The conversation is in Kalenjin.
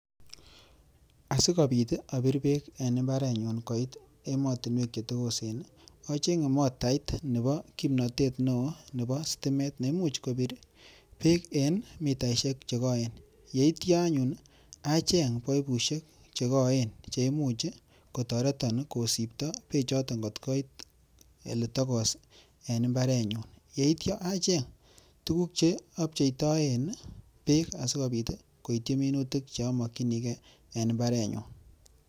Asikopit abir beek eng imbarenyun koit emotinwek chetokosen acheng'e motait nebo kimnotet neo nebo sitimet nemuch kobir beek eng mitaishek chekoen yeityo anyun acheng paipushek chekoen cheimuch kotoreton kosipto beechoto kotkoit oletokos eng imbarenyun yeityo acheny tukuk cheapcheitoen beek sikopit koityi minutik chamokchinigei eng imbarenyun